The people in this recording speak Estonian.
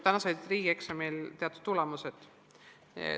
Seni sa said riigieksamil teatud tulemused.